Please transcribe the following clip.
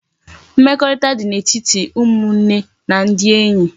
Mmekorita di na etiti umunne ndi enye